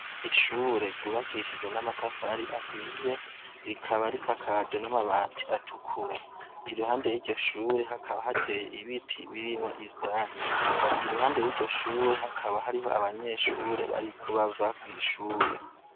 Ishure ryubakishijwe amatafari ahiye rikaba risakajwe n' amabati atukura iruhande yiryo shure hakaba hateye ibiti birimwo ivyatsi impande yiryo shure hakaba hariho abanyeshure bariko bava kwishure.